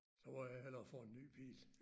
Så må jeg hellere få en ny bil